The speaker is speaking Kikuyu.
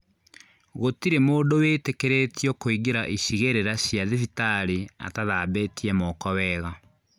Gũtirĩ mũndũ wĩtĩkĩrĩtio kũingĩra icigĩrĩra cia thibitarĩ atathambĩtie moko wega